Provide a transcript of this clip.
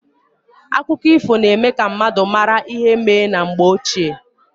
Akụkọ ifo na eme ka mmadụ mara ihe mee na mgbe ochie.